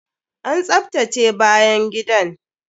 An tsaftace bayan gidan!